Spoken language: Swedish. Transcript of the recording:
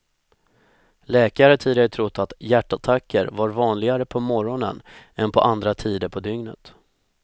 Läkare har tidigare trott att hjärtattacker var vanligare på morgonen än på andra tider på dygnet.